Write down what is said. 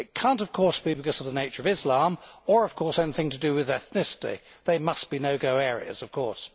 It cannot, of course, be because of the nature of Islam or of course anything to do with ethnicity. These must be no go areas' of course.